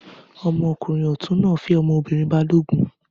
Ọmọkùnrin ọ̀tún náà fẹ́ ọmọbìnrin balógun.